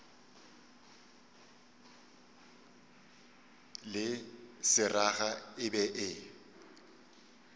le seraga e be e